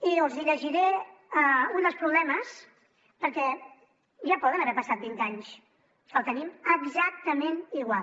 i els hi llegiré un dels problemes perquè ja poden haver passat vint anys que el tenim exactament igual